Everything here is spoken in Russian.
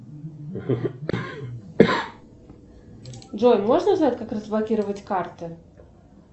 джой можно узнать как разблокировать карты